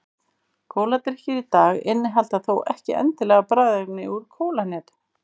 Kóladrykkir í dag innihalda þó ekki endilega bragðefni úr kólahnetu.